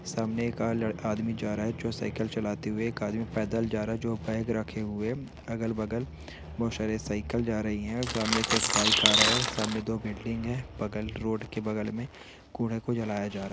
सामने एक आदमी जा रहा है जो साइकिल चलाते हुए जा रहा है जो बैग रखे हुए अगल-बगल बहुत सारे साइकिल जा रही हैं और सामने से एक बाइक आ रहा है सामने दो बिल्डिंग है बगल रोड के बगल में कूड़े को जलाया जा रहा हैं।